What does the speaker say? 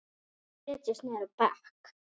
Aðrir setjast niður á bekk.